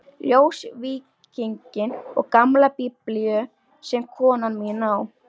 Ljósvíkinginn og gamla Biblíu sem konan mín á.